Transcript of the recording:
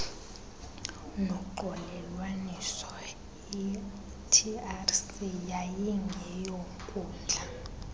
noxolelwaniso itrc yayingeyonkundla